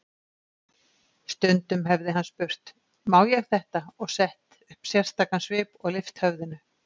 Stundum hefði hann spurt: Má ég þetta? og sett upp sérstakan svip og lyft höfðinu.